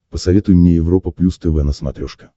посоветуй мне европа плюс тв на смотрешке